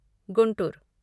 Guntur